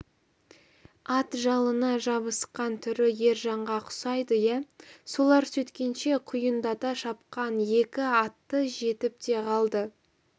ат жалына жабысқан түрі ержанға ұқсайды иә солар сөйткенше құйындата шапқан екі атты жетіп те қалды